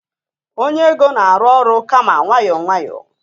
onye ego na-arụ ọrụ kama nwayọọ nwayọọ